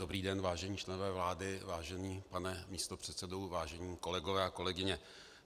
Dobrý den, vážení členové vlády, vážený pane místopředsedo, vážení kolegové a kolegyně.